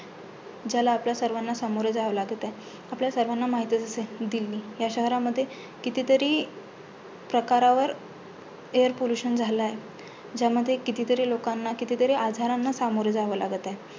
ज्याला आपल्याला सर्वांना सामोरे जावे लागत आहे. आपल्या सर्वांना माहितचं आहे. दिल्ली ह्या शहरामध्ये कितीतरी प्रकारावर air pollution झालं आहे. ज्यामुळे कितीतरी लोकांना कितीतरी आजारांना सामोरे जावे लागत आहे.